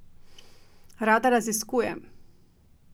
Rada raziskujem!